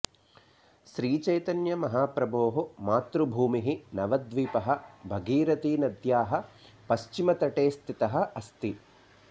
श्रीचैतन्य महाप्रभोः मातृभूमिः नवद्वीपः भगीरथी नद्याः पश्चिमे तटे स्थितः अस्ति